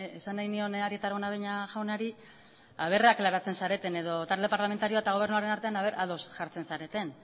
esan nahi nion arieta araunabeña jaunari aklaratzen zareten edo talde parlamentarioa eta gobernuaren artean ea ados jartzen zareten